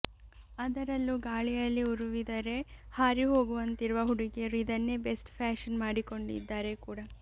ಅದರಲ್ಲೂ ಗಾಳಿಯಲ್ಲಿ ಉರುವಿದರೇ ಹಾರಿ ಹೋಗುವಂತಿರುವ ಹುಡುಗಿಯರು ಇದನ್ನೇ ಬೆಸ್ಟ್ ಫ್ಯಾಷನ್ ಮಾಡಿಕೊಂಡಿದ್ದಾರೆ ಕೂಡ